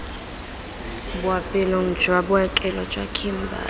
boapeelong jwa bookelo jwa kimberley